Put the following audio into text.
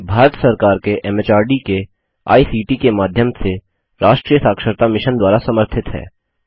यह भारत सरकार के एमएचआरडी के आईसीटी के माध्यम से राष्ट्रीय साक्षरता मिशन द्वारा समर्थित है